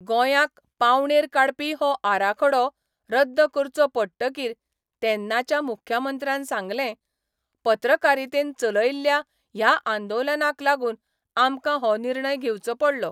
गोंयांक पावणेर काडपी हो आराखडो रद्द करचो पडटकीर तेन्नाच्या मुख्यमंत्र्यान सांगलें, ' पत्रकारितेन चलयल्ल्या ह्या आंदोलनाक लागून आमकां हो निर्णय घेवचो पडलो.